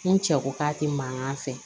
N cɛ ko k'a tɛ mankan fɛ